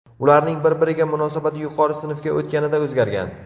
Ularning bir-biriga munosabati yuqori sinfga o‘tganida o‘zgargan.